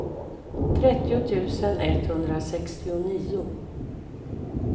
trettio tusen etthundrasextionio